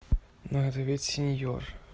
ну ответь сеньор